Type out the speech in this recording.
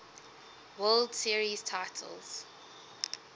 world series titles